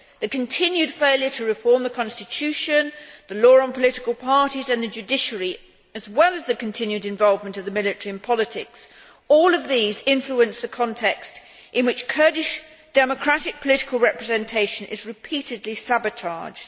The continued failure to reform the constitution, the Law on Political Parties and the judiciary, as well as the continued involvement of the military in politics, all influence the context in which Kurdish democratic political representation is repeatedly sabotaged.